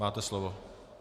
Máte slovo.